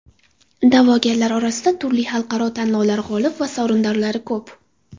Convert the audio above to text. Da’vogarlar orasida turli xalqaro tanlovlar g‘olib va sovrindorlari ko‘p.